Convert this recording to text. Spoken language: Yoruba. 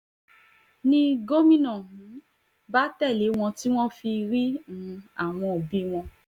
ni gómìnà um bá tẹ̀lé wọn tí wọ́n fi rí um àwọn òbí wọn